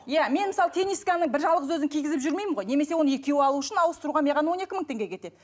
иә мен мысалы тенисканың бір жалғыз өзін кигізіп жүрмеймін ғой немесе оны екеу алу үшін ауыстыруға маған он екі мың теңге кетеді